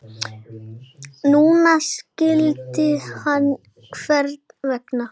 Núna skildi hann hvers vegna.